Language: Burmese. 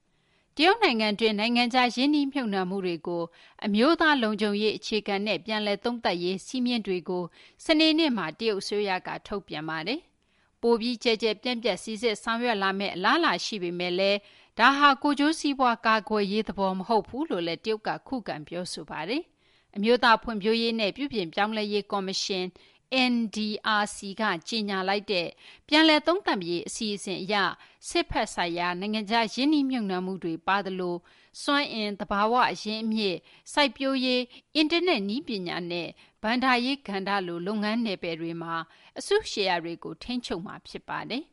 တရုတ်နိုင်ငံတွင်း နိုင်ငံခြား ရင်းနှီးမြှုပ်နှံမှုတွေကို အမျိုးသားလုံခြုံရေး အခြေခံနဲ့ ပြန်လည်သုံးသပ်ရေး စည်းမျဉ်းတွေကို စနေနေ့မှာ တရုတ်အစိုးရက ထုတ်ပြန်ပါတယ်။ ပိုပြီး ကျယ်ကျယ်ပြန့်ပြန့် စိစစ်ဆောင်ရွက်လာမယ့် အလားအလာ ရှိပေမယ့်လည်း ဒါဟာ ကိုယ်ကျိုးစီးပွား ကာကွယ်ရေးသဘော မဟုတ်ဘူးလို့လည်း တရုတ်က ခုခံ ပြောဆိုထားပါတယ်။ အမျိုးသားဖွံ့ဖြိုးရေးနဲ့ ပြုပြင်ပြောင်းလဲရေး ကော်မရှင် (NDRC) က ကြေညာလိုက်တဲ့ ပြန်လည်သုံးသပ်မယ့် အစီအစဉ်အရ စစ်ဘက်ဆိုင်ရာ နိုင်ငံခြား ရင်းနှီးမြှုပ်နှံမှုတွေ ပါသလို စွမ်းအင်၊ သဘာဝအရင်းအမြစ်၊ စိုက်ပျိုးရေး၊ အင်တာနက်နည်းပညာနဲ့ ဘဏ္ဍာရေးကဏ္ဍလို လုပ်ငန်းနယ်ပယ်တွေမှာ အစုရှယ်ယာတွေကို ထိန်းချုပ်မှာ ဖြစ်ပါတယ်